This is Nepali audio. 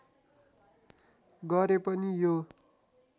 गरे पनि यो